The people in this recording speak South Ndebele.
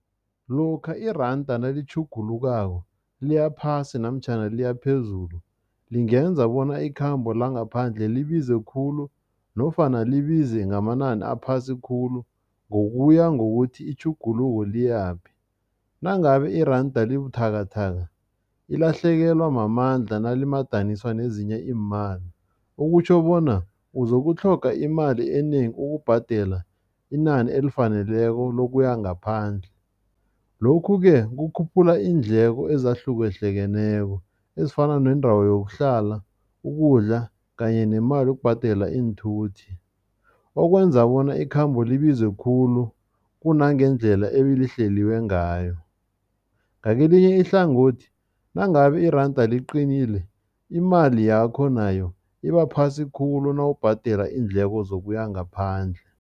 Lokha iranda nalitjhugulukako, liya phasi namtjhana liya phezulu, lingenza bona ikhambo langaphandle libize khulu nofana libize ngamanani aphasi khulu, ngokuya ngokuthi itjhuguluko liyaphi. Nangabe iranda libuthakathaka, ilahlekelwa mamandla nalimadaniswa nezinye iimali, okutjho bona uzokutlhoga imali enengi ukubhadela inani elifaneleko lokuya ngaphandle. Lokhu-ke kukhuphula iindleko ezahlukahlukeneko ezifana neendawo yokuhlala, ukudla kanye nemali yokubhadela iinthuthi. Okwenza bona ikhambo libize khulu kunangendlela ebilihleliwa ngayo. Ngakelinye ihlangothi, nangabe iranda liqinile, imali yakho nayo ibaphasi khulu nawubhadela iindleko zokuya ngaphandle.